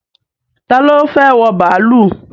Ta ni ó fẹ́ wọ bàálù?